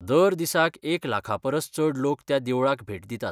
दर दिसाक एक लाखापरस चड लोक त्या देवळाक भेट दितात.